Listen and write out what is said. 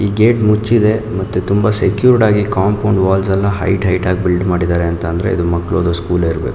ಈ ಗೇಟ್ ಮುಚ್ಚಿದೆ ಮತ್ತೆ ತುಂಬಾ ಸೆಕ್ಯೂರ್ಡ್ ಆಗಿ ಕಾಂಪೌಂಡ್ ವಾಲ್ಸ್ ಎಲ್ಲಾ ಹೈಟ್ ಹೈಟ್ ಆಗಿ ಬಿಲ್ಡ್ ಮಾಡಿದ್ದಾರೆ ಅಂತಂದ್ರೆ ಇದು ಮಕ್ಕಳದು ಸ್ಕೂಲೆ ಇರಬೇಕು.